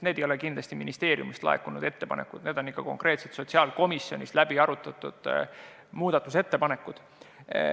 Need ei ole kindlasti ministeeriumist laekunud ettepanekud, need on konkreetsed sotsiaalkomisjonis läbi arutatud muudatusettepanekud.